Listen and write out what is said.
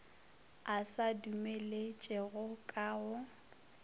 a se dumeletšego ka go